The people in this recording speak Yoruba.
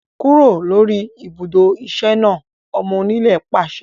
Kúrò lórí ibùdó iṣẹ́ náà! Ọmọ onílẹ̀ pàṣẹ